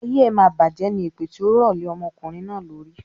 "Ayé ẹ máa bajẹ̀ ní" ni èpè tí ó rọ lè ọmọkùnrin náà lórí.